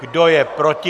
Kdo je proti?